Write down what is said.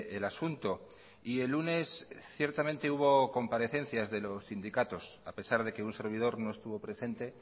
el asunto y el lunes ciertamente hubo comparecencias de los sindicatos a pesar de que un servidor no estuvo presente